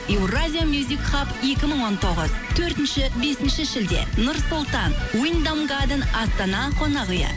еуразия мюзикхаб екі мың он тоғыз төртінші бесінші шілде нұр сұлтан уйндам гаден астана қонақ үйі